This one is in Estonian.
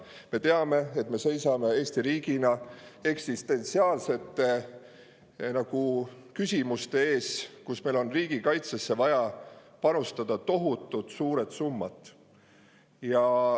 Me teame, et me seisame Eesti riigina eksistentsiaalsete küsimuste ees, mille tõttu meil on riigikaitsesse vaja panustada tohutult suured summad.